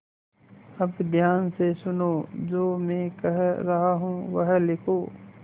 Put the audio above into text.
अब ध्यान से सुनो जो मैं कह रहा हूँ वह लिखो